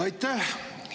Aitäh!